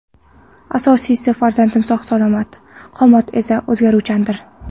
Asosiysi, farzandim sog‘-salomat, qomat esa o‘zgaruvchandir.